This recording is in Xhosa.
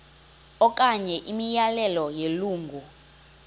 okanye imiyalelo yelungu